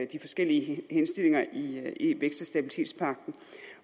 de forskellige henstillinger i vækst